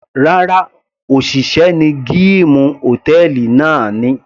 Rárá, òṣìṣẹ́ ní gíìmù hòtẹ́ẹ̀lì náà ni.